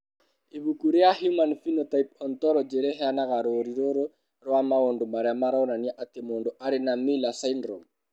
Ibuku rĩa Human Phenotype Ontology rĩheanaga rũũri rũrũ rwa maũndũ marĩa maronania atĩ mũndũ arĩ na Miller syndrome.